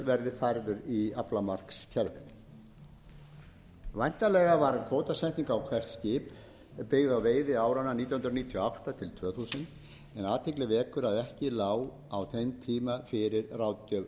verði færður í aflamarkskerfið væntanlega var kvótasetning á hvert skip byggð á veiði áranna nítján hundruð níutíu og átta til tvö þúsund en athygli vekur að ekki lá á þeim tíma fyrir ráðgjöf